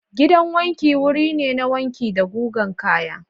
Gidan wanki wuri ne na wanki da gugan kaya.